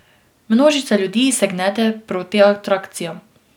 Množica ljudi se gnete proti atrakcijam.